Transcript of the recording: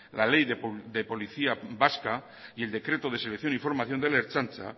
la ley de policía vasca y el decreto de selección y formación de la ertzaintza